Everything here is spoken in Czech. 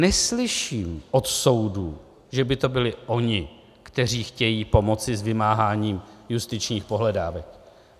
Neslyším od soudů, že by to byli oni, kteří chtějí pomoci s vymáháním justičních pohledávek.